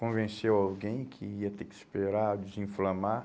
Convenceu alguém que ia ter que esperar desinflamar.